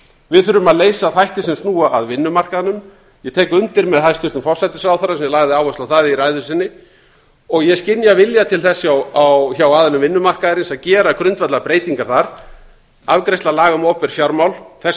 við þurfum að leysa þætti sem snúa að vinnumarkaðnum ég tek undir með hæstvirtum forsætisráðherra sem lagði áherslu á það í ræðu sinni og ég skynja vilja til þess að hjá aðilum vinnumarkaðarins að gera grundvallarbreytingar þar afgreiðsla laga um opinber fjármál þess